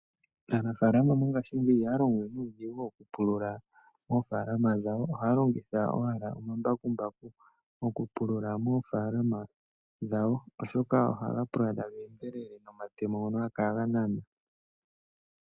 Aanafalama mongashingeyi ohaya longowe nuudhigu oku pulula ofalama dhawo, ohaya longitha owala omambakumbaku oku pulula mofalama dhawo oshoka ohaga pulula taga endelele nomatemo ngoka haga kala ganana.